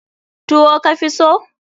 Tuwo ka fi so?